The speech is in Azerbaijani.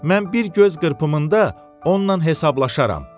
Mən bir göz qırpımında onunla hesablaşaram.